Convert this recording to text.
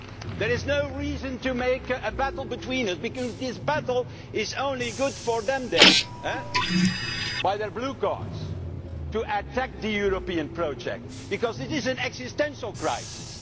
There is no reason for a battle between us because this battle is only good for them over there, with their blue cards, to attack the European project because this is an existential crisis